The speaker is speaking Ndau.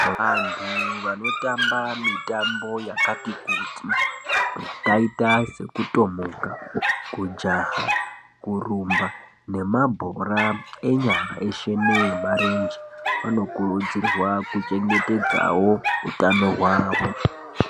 Vantu vanotamba mitambo yakati kuti yakaita sekutomuka, kunaka, kurumba nemabhora enyara weshe nemarenje vanokurudzirwawo kuchengetedza utano hwavo.